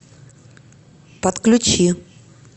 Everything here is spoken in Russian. подключи